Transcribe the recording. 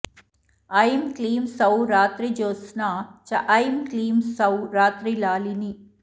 ऐं क्लीं सौः रात्रिज्योत्स्ना च ऐं क्लीं सौः रात्रिलालिनी